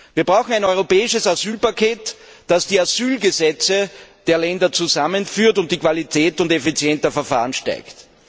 Wir brauchen ein europäisches Asylpaket, das die Asylgesetze der Länder zusammenführt und die Qualität und Effizienz der Verfahren steigert.